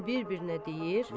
Hamı bir-birinə deyir: